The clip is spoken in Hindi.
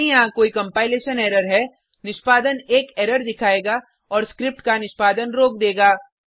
यदि यहाँ कोई कंपाइलेशन एरर है निष्पादन एक एरर दिखायेगा और स्क्रिप्ट का निष्पादन रोक देगा